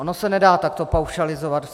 Ono se nedá takto paušalizovat.